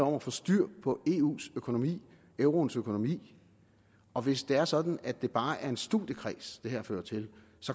om at få styr på eus økonomi euroens økonomi og hvis det er sådan at det bare er en studiekreds det her fører til